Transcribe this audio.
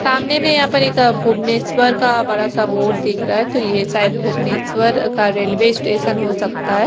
सामने में यहाँ पर एक भुवनेश्वर का एक बड़ा सा बोर्ड दिख रहा है तो यह सायद भुवनेश्वर का रेलवे स्टेशन हो सकता है।